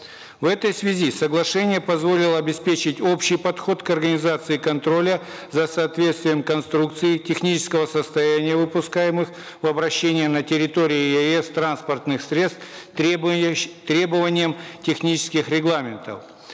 в этой связи соглашение позволило обеспечить общий подход к организации контроля за соответствием конструкции технического состояния выпускаемых в обращение на территории еаэс транспортных средств требованием технических регламентов